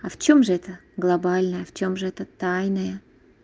а в чем же это глобальная в чем же это тайное